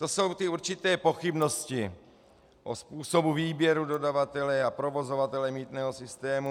To jsou ty určité pochybnosti o způsobu výběru dodavatele a provozovatele mýtného systému.